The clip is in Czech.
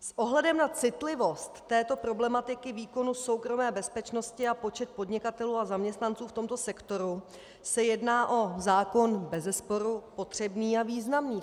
S ohledem na citlivost této problematiky výkonu soukromé bezpečnosti a počet podnikatelů a zaměstnanců v tomto sektoru se jedná o zákon bezesporu potřebný a významný.